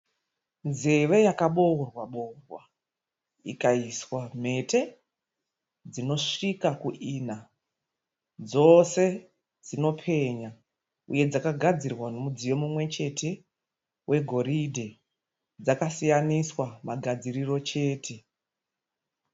Nzeve yakaboorwa boorwa ikaswa mhete dzinosvika kuina. Dzose dzinopenya uye dzakagadzirwa nemudziyo mumwe chete wegoridhe dzakasiyaniswa magadziriro chete.